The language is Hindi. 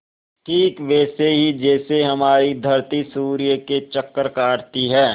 ठीक वैसे ही जैसे हमारी धरती सूर्य के चक्कर काटती है